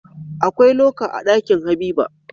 Akwai loka a Ɗakin habiba